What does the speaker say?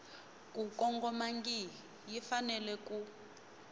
ku kongomangihi yi fanele ku